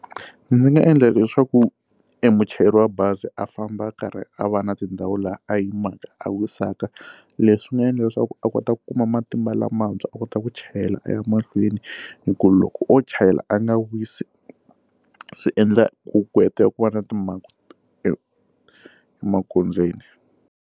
Ndzi nga endla leswaku emuchayeri wa bazi a famba a karhi a va na tindhawu laha a yimaka a wisaka leswi nga endla leswaku a kota ku kuma matimba lamantshwa a kota ku chayela a ya mahlweni hi ku loko o chayela a nga wisi swiendla ku ku hetelela ku va na timhangu e emagondzweni.